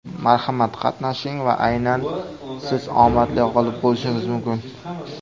Marhamat, qatnashing va aynan siz omadli g‘olib bo‘lishingiz mumkin.